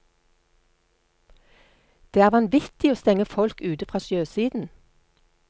Det er vanvittig å stenge folk ute fra sjøsiden.